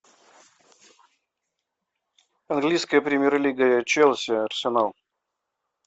английская премьер лига челси арсенал